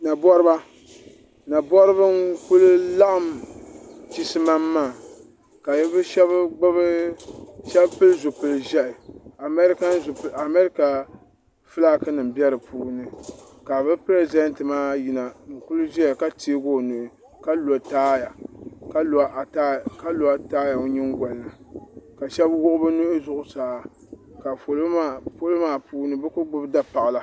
Naboriba Naboriba n kuli laɣim chisimam maa ka bɛ sheba pili zipil'ʒehi amarika filaaki nima be dipuuni ka bɛ piresidenti maa yina n ti ʒia ka teegi o nuhi ka lo taaya o nyingolini ka sheba wuɣi bɛ nuhi zuɣusaa ka polo maa puuni bɛ kuli gbibi dapaɣala.